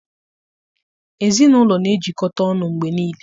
Ezinụlọ na-ejikọta ọnụ mgbe niile